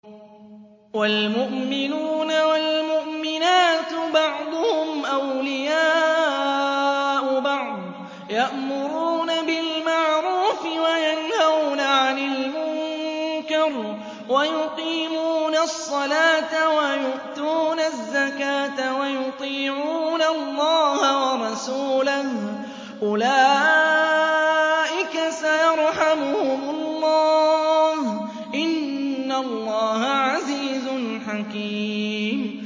وَالْمُؤْمِنُونَ وَالْمُؤْمِنَاتُ بَعْضُهُمْ أَوْلِيَاءُ بَعْضٍ ۚ يَأْمُرُونَ بِالْمَعْرُوفِ وَيَنْهَوْنَ عَنِ الْمُنكَرِ وَيُقِيمُونَ الصَّلَاةَ وَيُؤْتُونَ الزَّكَاةَ وَيُطِيعُونَ اللَّهَ وَرَسُولَهُ ۚ أُولَٰئِكَ سَيَرْحَمُهُمُ اللَّهُ ۗ إِنَّ اللَّهَ عَزِيزٌ حَكِيمٌ